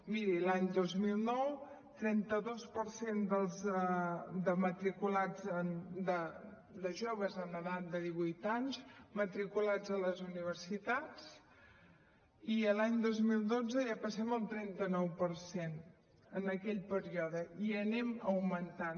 miri l’any dos mil nou trenta dos per cent de matriculats de joves en edat de divuit anys matriculats a les universitats i l’any dos mil dotze ja passem al trenta nou per cent en aquell període i anem augmentant